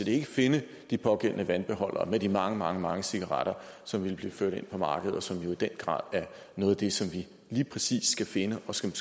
ikke finde de pågældende vandbeholdere med de mange mange mange cigaretter som ville blive ført ind på markedet og som jo i den grad er noget af det som vi lige præcis skal finde og som